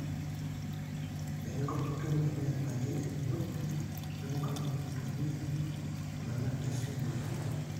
eninko pee itum enet naji enino weninko pee intumia ina net naisujieki olchani